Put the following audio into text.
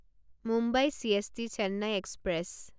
Mumbai CST Chennai express